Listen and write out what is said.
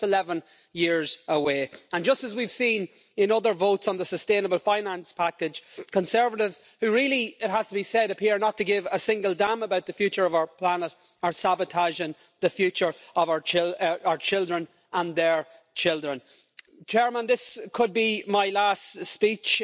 That's just 11 years away. And just as we've seen in other votes on the sustainable finance package, conservatives who really, it has to be said, appear not to give a single damn about the future of our planet, are sabotaging the future of our children and their children. This could be my last speech,